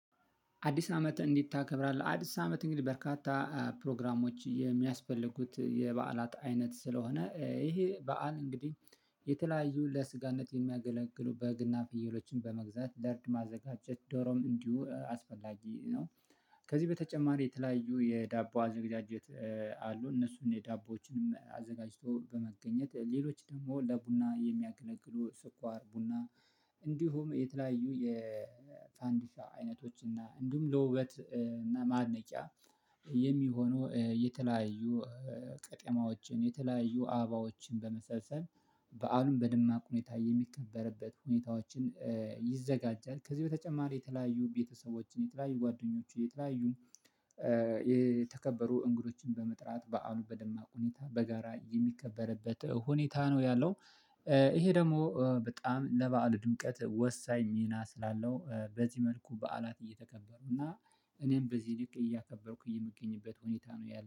አዲስ አመት እንዴት ታከብራለህ? አዲስ አመት እንግዲህ በርካታ ፕሮግራሞች የሚያስፈልጉት የበዓላት አይነት ስለሆነ ይሄ በዓል እንግዲህ የተለያዩ ለስጋነት የሚያገለግሉ በግና ፍየሎችን በመግዛት ለእርድ ማዘጋጀት ዶሮም እንዲሁ አስፈላጊ ነው። ከዚህ በተጨማሪ የተለያዩ የዳቦ አዘጋጀት። አሉ እነሱን የዳቦዎችንም አዘጋጅቶ በመገኘት ሌሎች ደግሞ ለቡና የሚያገለግሉ ስኳር ቡና። እንዲሁም የተለያዩ የፋንዲሻ አይነቶች እና እንዲሁም ለውበት ማድነቂያ የሚሆነው የተለያዩ ቀጤማዎችን የተለያዩ አበባዎችን በመሰልሰል በዓሉን በድማቅ ሁኔታ የሚከበርበት ሁኔታዎችን ይዘጋጃል። ከዚህ በተጨማሪ የተለያዩ ቤተሰቦችን የተለያዩ ጓደኞችን የተለያዩ የተከበሩ እንግዶችን በመጥራት በዓሉ በደማቅ ሁኔታ በጋራ የሚከበርበት ሁኔታ ነው ያለው። ይሄ ደግሞ በጣም ለበአሉ ድምቀት ወሳኝ ሚና ስላለው በዚህ መልኩ በዓላት እየተከበሩ እና እኔም በዚህ ልክ እያከበርኩኝ የምገኝበት ሁኔታ ነው ያለሁት